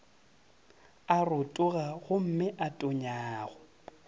a rotoga gomme a tonyago